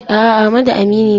A'a, Amadu aminina ne.